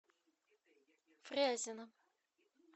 фрязино